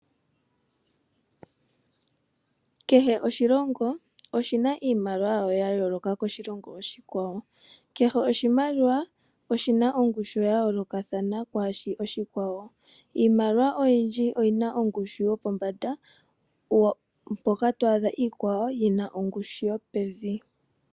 Kehe oshilongo oshi na iimaliwa yasho ya yooloka kiimaliwa yoshilongo oshikwawo. Kehe oshimaliwa oshi na ongushu ya yoolokathana koshikwawo. Iimaliwa oyindji oyi na ongushu yopombanda mpoka to adha iikwawo yi na ongushu yopevi.